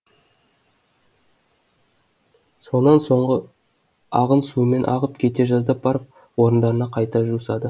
сонан соңғы ағын сумен ағып кете жаздап барып орындарына қайта жусады